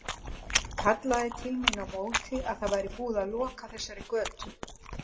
Kallaði til mín á móti að það væri búið að loka þessari götu.